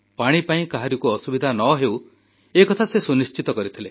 ପାଣି ପାଇଁ କାହାରିକୁ ଅସୁବିଧା ନ ହେଉ ଏ କଥା ସେ ସୁନିଶ୍ଚିତ କରିଥିଲେ